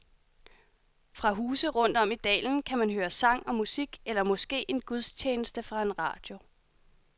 Fra huse rundt om i dalen kan man høre sang og musik eller måske en gudstjeneste fra en radio.